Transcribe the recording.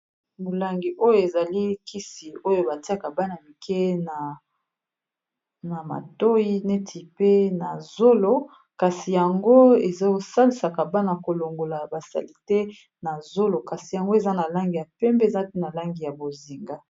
Molangi oyo ezali kisi oyo batiaka bana mike na matoyi neti pe na zolo kasi yango ezo salisaka bana kolongola basalite na zolo kasi yango eza na langi ya pembe eza pe na langi ya bozinga.